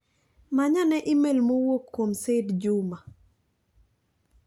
Manyane imel m owuok kuom Said Juma